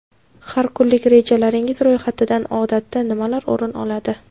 Har kunlik rejalaringiz ro‘yxatidan odatda nimalar o‘rin oladi?